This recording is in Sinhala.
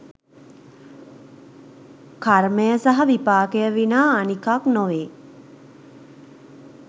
කර්මය සහ විපාකය විනා අනිකක් නොවේ.